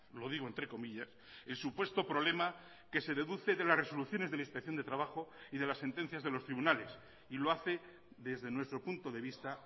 lo digo entre comillas el supuesto problema que se deduce de las resoluciones de la inspección de trabajo y de las sentencias de los tribunales y lo hace desde nuestro punto de vista